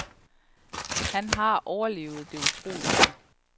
Han hare overlevet det utroligste.